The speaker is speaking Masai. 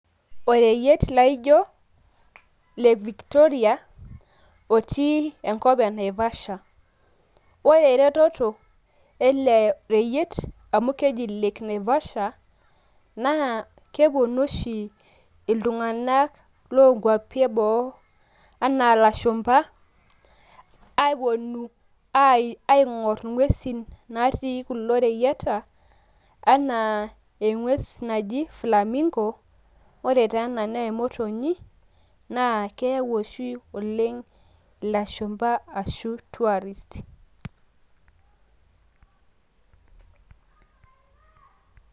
Oreyiet laijo lake Victoria otii enkop e Naivasha. Ore eretoto ele reyiet amu keji lake Naivasha naa keponu oshi oltung`anak loo nkuapi e boo anaa lashumpa, aponu aing`orr ing`uesin natii kulo reyieta ana eng`ues naji Flamingo. Ore taa ena naa emotonyi naa keyawu oshi oleng ilashumpa ashu tourist.